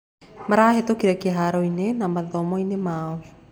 Marahĩtũkire kĩharo-inĩ na mathomo-inĩ mao.